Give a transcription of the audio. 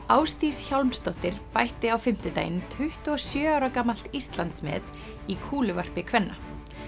Ásdís Hjálmsdóttir bætti á fimmtudaginn tuttugu og sjö ára gamalt Íslandsmet í kúluvarpi kvenna